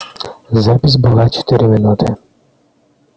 запись была четыре минуты